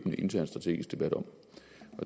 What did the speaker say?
en intern strategisk debat om